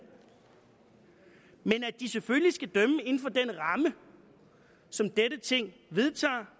men at de selvfølgelig skal dømme inden for den ramme som dette ting vedtager